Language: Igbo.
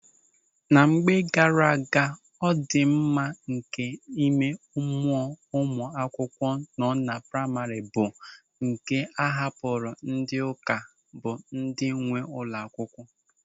Na mgbe gaara aga, ọdịmma nke ịme mụọ ụmụ akwụkwọ nọ na praima bụ nke a hapụrụ ndị ụka bụ ndị nwe ụlọ akwụkwọ.